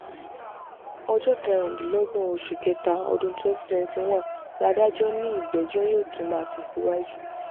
ọjọ́ kẹrìndínlọ́gbọ̀n oṣù kẹta ọdún twenty twenty one ládàjọ́ ni ìgbẹ́jọ́ yóò tún máa tẹ̀síwájú